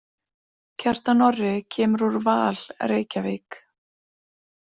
Kjartan Orri kemur úr Val Reykjavík.